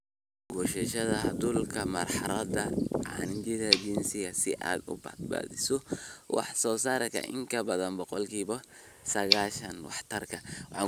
Goosashada hadhuudhka marxaladda cajiinka jilicsan si aad u badbaadiso wax-soo-saarka in ka badan boqolkiba sagashan waxtarka.